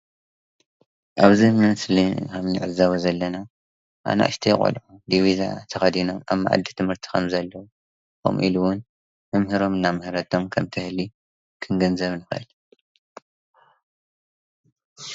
ኣብዚ ምስሊ እንዕዘቦ ዘለና ኣናእሽቲ ቆለዑ ዲቪዛ ተከዲኖም ኣብ መኣዲ ትምርቲ ከም ዘለዉ ከምኢሉ እውን መምህሮም እናመሀሬቶም ከመትህሊ ከንግዘብ ኣለና።